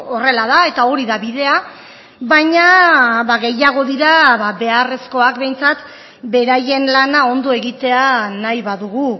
horrela da eta hori da bidea baina gehiago dira beharrezkoak behintzat beraien lana ondo egitea nahi badugu